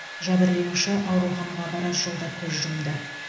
жәбірленуші ауруханаға барар жолда көз жұмды